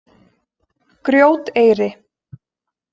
Grjóteyri